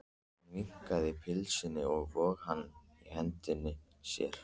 Hann vingsaði pylsunni og vóg hana í hendi sér.